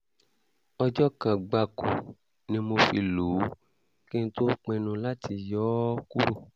ọjọ́ kan gbáko ni mo fi lò ó kí n tó pinnu láti yọ yọ ọ́ kúrò